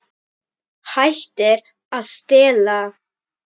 Hættir að stela.